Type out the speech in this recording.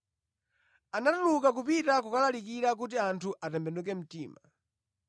Anatuluka kupita kukalalikira kuti anthu atembenuke mtima.